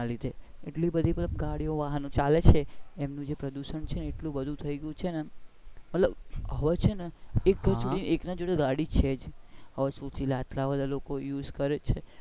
આટલા બધા ગાડીયો ને વાહન ચાલે છે એના લીધે પ્રદુશન છે ને એટલું બધુંથઈ ગયુ છે ને મતલબ હવે છે ને એક ના એક જોડે ગાડી છે હવે આટલા બધા લોકો use કરે છે.